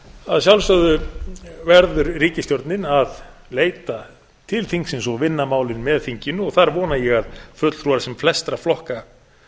að sjálfsögðu verður ríkisstjórnin að leita til þingsins og vinna málin með þinginu og þar vona ég að fulltrúar sem flestra flokka